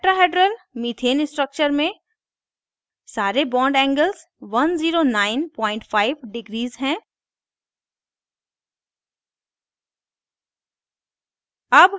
tetrahedral methane structure में सारे bond angles 1095 degree हैं